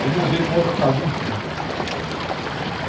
Aí mudei para uma outra casinha em frente.